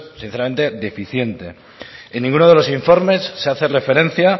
sinceramente deficiente en ninguno de los informes se hace referencia